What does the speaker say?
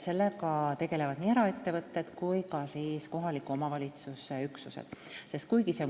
Sellega tegelevad nii eraettevõtted kui ka kohaliku omavalitsuse üksused.